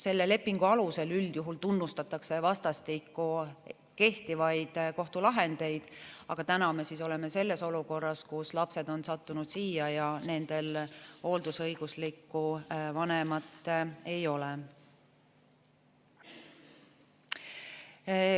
Selle lepingu alusel üldjuhul tunnustatakse vastastikku kehtivaid kohtulahendeid, aga täna me oleme selles olukorras, kus lapsed on sattunud siia ja nendel hooldusõiguslikku vanemat ei ole.